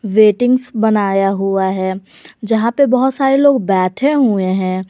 वेटिंग्स बनाया हुआ है जहां पे बहुत सारे लोग बैठे हुए हैं।